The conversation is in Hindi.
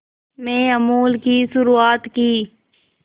में अमूल की शुरुआत की